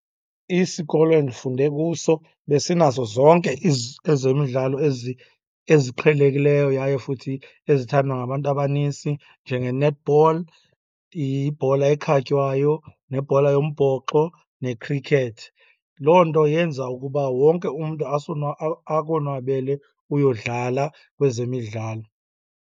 Isikolo endifunde kuso besinazo zonke ezemidlalo eziqhelekileyo yaye futhi ezithandwa ngabantu abanintsi njenge-netball, ibhola ekhatywayo nebhola yombhoxo, ne-cricket. Loo nto yenza ukuba wonke umntu akonwabele uyodlala kwezemidlalo.